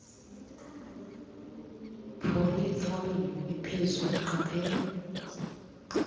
polyethylene ephezulu qaphela